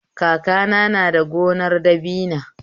Kakana na da gonar dabina